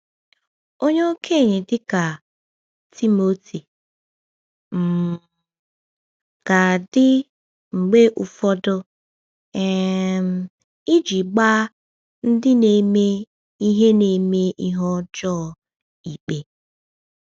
Onye okenye, dịka Timoteo, um ga-adị mgbe ụfọdụ um iji gbaa ndị na-eme ihe na-eme ihe ọjọọ ikpe.